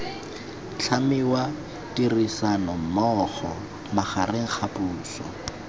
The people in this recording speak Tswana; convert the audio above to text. tlhamiwa ditirisanommogo magareng ga puso